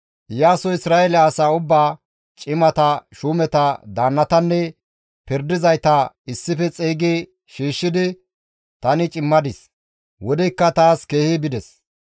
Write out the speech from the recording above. Iyaasoy Isra7eele asaa ubbaa, cimata, shuumeta, daannatanne pirdizayta issife xeygi shiishshidi, «Tani cimadis, wodeykka taas keehi bides.